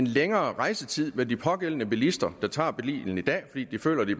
længere rejsetid vil de pågældende bilister der tager bilen i dag fordi de føler de